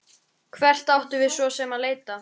Hvert áttum við svo sem að leita?